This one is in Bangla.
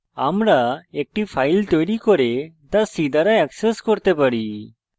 আমরা একটি file তৈরী করে তা c দ্বারা access করতে পারি